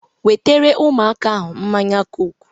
Wetere ụmụaka ahụ mmanya kook!